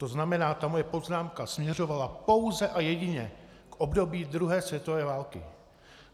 To znamená, ta moje poznámka směřovala pouze a jedině k období druhé světové války.